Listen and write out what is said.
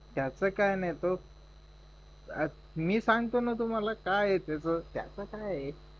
त्याच काय नाहीय तो मी सांगतो ना तुम्हाला काय आहे त्याच त्याच काय आहे